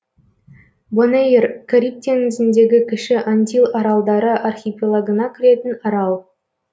бонэйр кариб теңізіндегі кіші антил аралдары архипелагына кіретін арал